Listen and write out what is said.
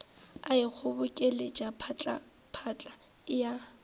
a ikgobokeletša phatlaphatla e a